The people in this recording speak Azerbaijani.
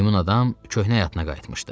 Meymun adam köhnə həyatına qayıtmışdı.